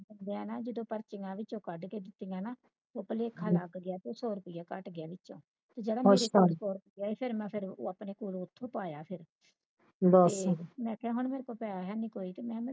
ਮੈਂ ਨਾ ਜਦੋ ਪਰਚੀਆਂ ਵਿੱਚੋ ਕੱਢ ਕੇ ਦਿੱਤੀਆਂ ਨਾ ਤੇ ਭਾਲਖਾ ਲੱਗ ਗਿਆ ਤੇ ਸੌ ਰੁਪਇਆ ਘੱਟ ਗਿਆ ਵਿੱਚੋ ਜਿਹੜਾ ਮੇਰਾ ਪੰਜ ਸੌ ਰਹਿ ਗਿਆ ਤੇ ਮੈਂ ਆਪਣੇ ਕੋਲੋਂ ਉਥੋਂ ਪਾਇਆ ਫਿਰ ਮੈਂ ਕਿਹਾ ਮੇਰੇ ਕੋਲ ਪੈਸਾ ਹੈ ਨੀ ਕੋਈ